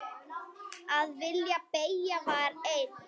Að vilji beggja var einn.